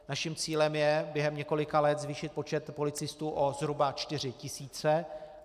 Naším cílem je během několika let zvýšit počet policistů o zhruba 4 tisíce.